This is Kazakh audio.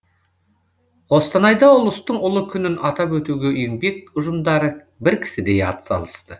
қостанайда ұлыстың ұлы күнін атап өтуге еңбек ұжымдары бір кісідей атсалысты